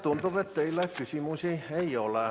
Tundub, et teile küsimusi ei ole.